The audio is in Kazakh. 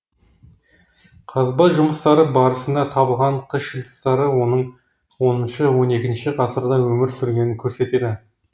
қазба жұмыстары барысында табылған қыш ыдыстары оның оныншы он екінші ғасырда өмір сүргенін көрсетеді